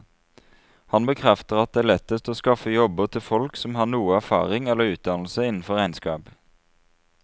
Han bekrefter at det er lettest å skaffe jobber til folk som har noe erfaring eller utdannelse innenfor regnskap.